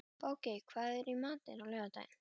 Bogey, hvað er í matinn á laugardaginn?